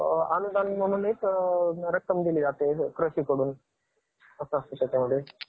चिवडा, लाडू, करंज्या. छत्रपती शिवाजी महाराज जयंती, संपूर्ण महाराष्ट्राची आराध्य दैवत असणारे राजा,